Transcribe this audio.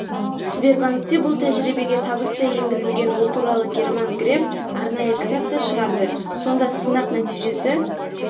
сбербанкте бұл тәжірибеге табысты енгізілген ол туралы герман греф арнайы кітап та шығарды сонда сынақ нәтижесі